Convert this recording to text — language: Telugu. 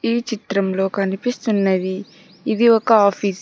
ఈ చిత్రంలో కనిపిస్తున్నది ఇది ఒక ఆఫీస్ .